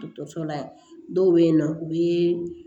Dɔkɔtɔrɔso la dɔw be yen nɔ u be